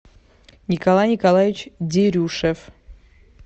николай николаевич дерюшев